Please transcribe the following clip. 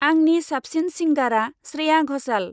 आंनि साबसिन सिंगारा स्रेया घसाल।